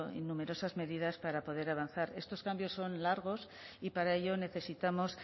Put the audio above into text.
numerosas medidas para poder avanzar estos cambios son largos y para ello necesitamos